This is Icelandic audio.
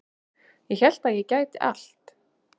Ég hélt að ég gæti allt